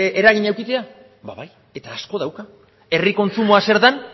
eragina edukitzea ba bai eta asko dauka herri kontsumoa zer den